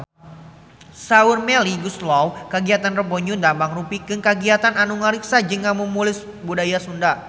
Saur Melly Goeslaw kagiatan Rebo Nyunda mangrupikeun kagiatan anu ngariksa jeung ngamumule budaya Sunda